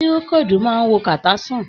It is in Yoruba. Pirokodu máa n wo kata san.